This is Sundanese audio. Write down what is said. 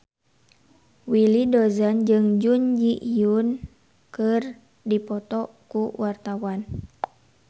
Willy Dozan jeung Jun Ji Hyun keur dipoto ku wartawan